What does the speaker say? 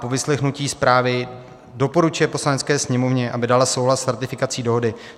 Po vyslechnutí zprávy doporučuje Poslanecké sněmovně, aby dala souhlas s ratifikací dohody.